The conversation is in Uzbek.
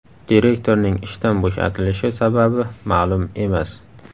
Direktorning ishdan bo‘shatilishi sababi ma’lum emas.